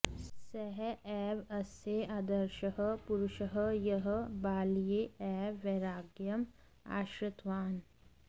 सः एव अस्य आदर्शः पुरुषः यः बाल्ये एव वैराग्यम् आश्रितवान्